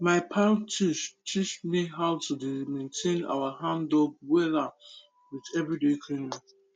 my teach teach me how to dey maintain our handdug wella with everyday cleaning